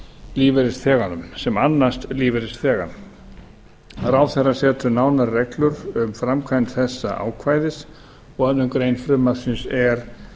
lífeyrisþeganum sem annast lífeyrisþegann ráðherra setur nánari reglur um framkvæmd þessa ákvæðis og aðra grein frumvarpsins er